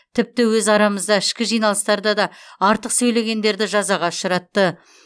тіпті өз арамызда ішкі жиналыстарда да артық сөйлегендерді жазаға ұшыратты